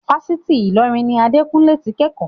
Fásitì Ilorin ni Adekunle ti ń kẹ́kọ̀ọ́.